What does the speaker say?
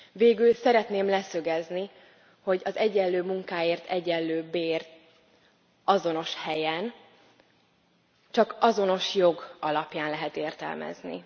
Végül szeretném leszögezni, hogy az egyenlő munkáért egyenlő bért azonos helyen csak azonos jog alapján lehet értelmezni.